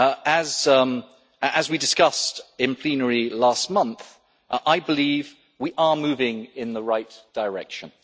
As we discussed in plenary last month, I believe we are moving in the right direction